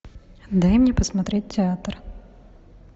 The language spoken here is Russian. дай мне посмотреть театр